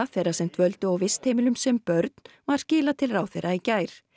þeirra sem dvöldu á vistheimilum sem börn var skilað til ráðherra í gær